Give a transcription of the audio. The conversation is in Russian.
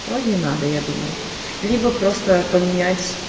проги надо я думаю либо просто поменять